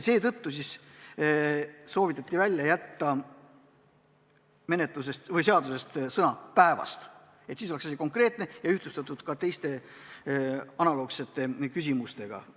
Seetõttu soovitati välja jätta sõna "päevast" – siis oleks asi konkreetne ja ühtlustatud ka teiste analoogsete formuleeringutega.